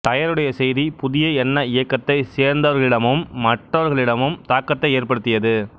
டயருடைய செய்தி புதிய எண்ண இயக்கத்தைச் சேர்ந்தவர்களிடமும் மற்றவர்களிடமும் தாக்கத்தை ஏற்படுத்தியது